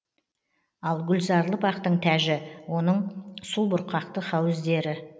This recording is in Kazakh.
ал гүлзарлы бақтың тәжі оның су бұрқақты хауіздері